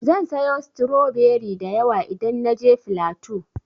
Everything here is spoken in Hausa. Zan sayo stroberi da yawa idan na je flatu.